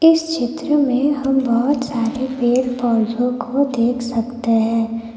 इस चित्र में हम बहुत सारे पेड़ पौधों को देख सकते हैं।